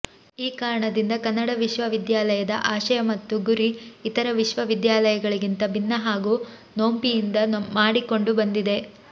ಈ ಕಾರಣದಿಂದ ಕನ್ನಡ ವಿಶ್ವವಿದ್ಯಾಲಯದ ಆಶಯ ಮತ್ತು ಗುರಿ ಇತರ ವಿಶ್ವವಿದ್ಯಾಲಯಗಳಿಗಿಂತ ಭಿನ್ನ ಹಾಗೂ ನೋಂಪಿಯಿಂದ ಮಾಡಿಕೊಂಡು ಬಂದಿದೆ